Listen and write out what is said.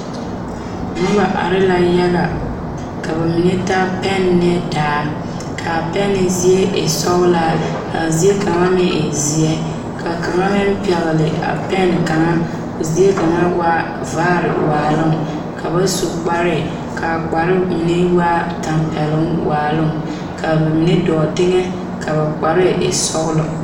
Noba are la yaga ka ba mine taa pɛne ne daa k,a pɛne zie e sɔglaa k,a zie kaŋ meŋ e zeɛ ka kaŋa meŋ pɛgle a pɛne kaŋa k,o zie kaŋa waa vaare waaloŋ ka ba su kpare ka ba kpare mine waa tɛmpɛloŋ waaloŋ ka ba mine dɔɔ teŋɛ ka ba kpare e sɔglɔ.